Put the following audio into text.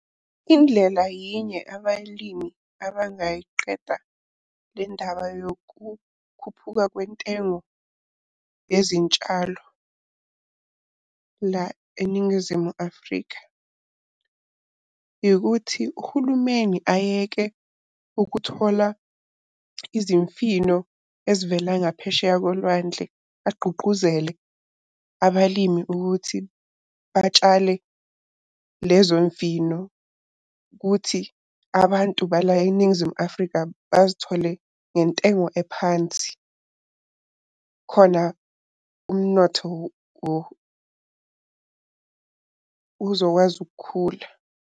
Indlela yinye abalimi abangayiqeda le ndaba yokukhuphuka kwentengo yezintshalo la eNingizimu Afrika. Ikuthi uhulumeni ayeke ukuthola izimfino ezivele ngaphesheya kolwandle, agqugquzele abalimi ukuthi batshale lezo mfino, kuthi abantu bala eNingizimu Afrika bazithole ngentengo ephansi. Khona umnotho uzokwazi ukukhula.